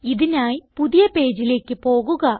ഇതിനായി പുതിയ പേജിലേക്ക് പോകുക